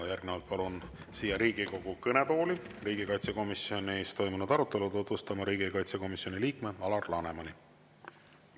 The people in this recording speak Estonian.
Järgnevalt palun siia Riigikogu kõnetooli riigikaitsekomisjonis toimunud arutelu tutvustama riigikaitsekomisjoni liikme Alar Lanemani.